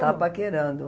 Estava paquerando.